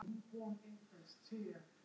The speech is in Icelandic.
Tengdafaðir minn hringdi í mig í dag.